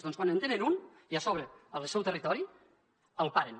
doncs quan en tenen un i a sobre al seu territori el paren